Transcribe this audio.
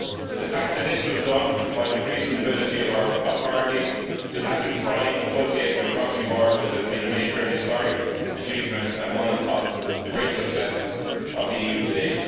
The fact that this was done while increasing the ability of our authorities to tackle crime associated with crossing borders has been a major historic achievement and one of the great successes of the EU to date.